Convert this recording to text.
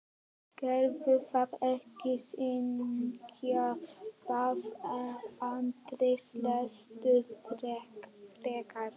Gerðu það ekki syngja, bað Andri, lestu frekar.